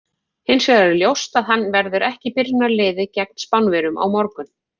Hins vegar er ljóst að hann verður ekki í byrjunarliði gegn Spánverjum á morgun.